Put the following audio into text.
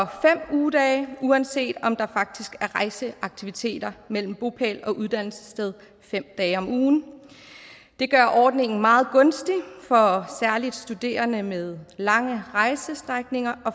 ugedage uanset om der faktisk er rejseaktivitet mellem bopæl og uddannelsessted fem dage om ugen det gør ordningen meget gunstig for særlig studerende med lange rejsestrækninger